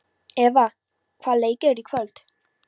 Eva, hvaða leikir eru í kvöld?